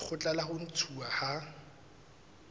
lekgotla la ho ntshuwa ha